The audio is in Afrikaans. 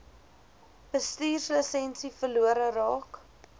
bestuurslisensie verlore raak